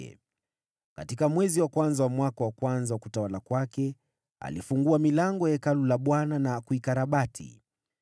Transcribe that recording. Katika mwezi wa kwanza wa mwaka wa kwanza wa utawala wa alifungua milango ya Hekalu la Bwana , na kuikarabati.